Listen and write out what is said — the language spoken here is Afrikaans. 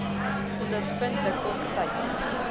ondervind dikwels tyds